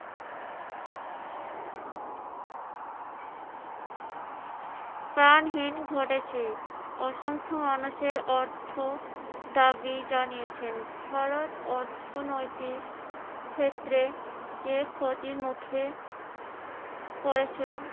প্রাণহীন ঘটেছে। অসংখ্য মানুষের অর্থ দাবি জানিয়েছেন, ভারত অর্থনৈতিক ক্ষেত্রে যে ক্ষতির মুখে পরেছেন